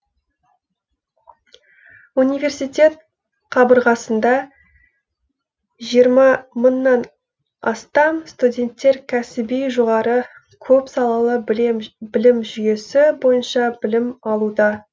университет қабырғасында жыирма мыңнан астам студентер кәсіби жоғары көпсалалы білім жүйесі бойынша білім алуда